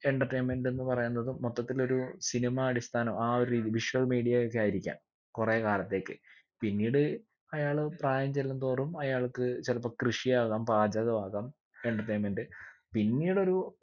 entertainment എന്ന് പറയുന്നത് മൊത്തത്തിലൊരു cinema അടിസ്ഥാനം ആ ഒരു രീതീല് visual media ഒക്കെ ആയിരിക്കാം കൊറേ കാലത്തേക്ക് പിന്നീട് അയാള് പ്രായം ചെല്ലുന്തോറും അയാൾക്ക് ചിലപ്പൊ കൃഷിയാകാം പാചകം ആകാം entertainment പിന്നീടൊരു